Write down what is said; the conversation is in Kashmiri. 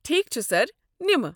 ٹھیک چھ سر، نمہٕ۔